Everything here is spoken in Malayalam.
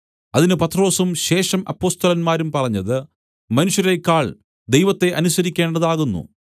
അതിന് പത്രൊസും ശേഷം അപ്പൊസ്തലന്മാരും പറഞ്ഞത് മനുഷ്യരേക്കാൾ ദൈവത്തെ അനുസരിക്കേണ്ടതാകുന്നു